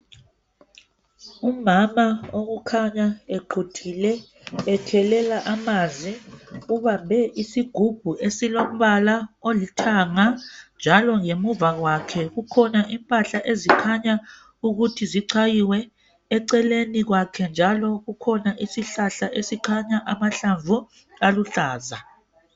Umama okukhanya equthile ekhelela amanzi ubambe isigubhu esilombala olithanga njalo ngemuva kwakhe kukhona impahla ezikhanya ukuthi zichayiwe eceleni kwakhe njalo kukhona isihlahla esikhanya amahlamvu aluhlaza.